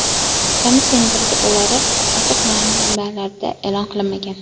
Komissiyaning protokollari ochiq manbalarda e’lon qilinmagan.